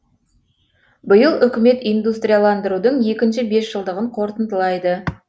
биыл үкімет индустрияландырудың екінші бесжылдығын қорытындылайды